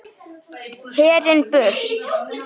Herinn burt!